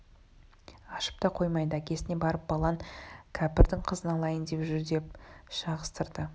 ашып та қоймады әкесіне барып балаң кәпірдің қызын алайын деп жүрдеп шағыстырды